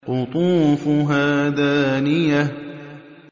قُطُوفُهَا دَانِيَةٌ